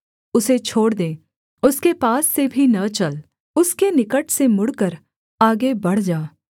उसे छोड़ दे उसके पास से भी न चल उसके निकट से मुड़कर आगे बढ़ जा